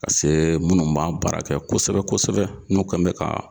Ka se minnu b'a baara kɛ kosɛbɛ kosɛbɛ n'o kɛn bɛ ka